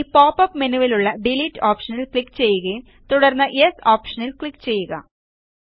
ഇനി പോപ്പപ്പ് മെനുവിലുള്ള ഡിലീറ്റ് ഓപ്ഷനിൽ ക്ലിക്ക് ചെയ്യുകയും തുടർന്ന് യെസ് ഓപ്ഷനിൽ ക്ലിക്ക് ചെയ്യുക